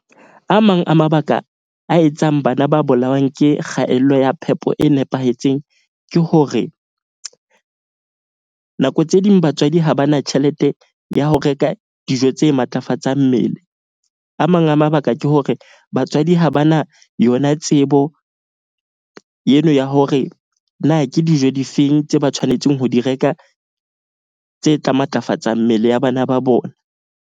A mang a mabaka a etsang bana ba bolawang ke kgaello ya phepo e nepahetseng ke hore, nako tse ding batswadi ha ba na tjhelete ya ho reka dijo tse matlafatsang mmele. A mang a mabaka, ke hore batswadi ha ba na yona tsebo eno ya hore na ke dijo difeng tse ba tshwanetseng ho di reka tse tla matlafatsang mmele ya bana ba bona.